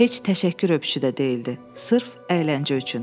Heç təşəkkür öpüşü də deyildi, sırf əyləncə üçün.